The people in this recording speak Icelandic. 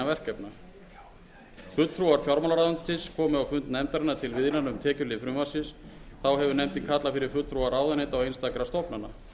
nefndarinnar til viðræðna um tekjuhlið frumvarpsins þá hefur nefndin kallað fyrir fulltrúa ráðuneyta og einstakra stofnana